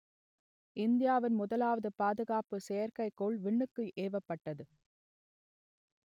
இந்தியாவின் முதலாவது பாதுகாப்பு செயற்கைக் கோள் விண்ணுக்கு ஏவப்பட்டது